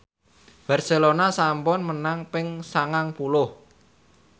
Barcelona sampun menang ping sangang puluh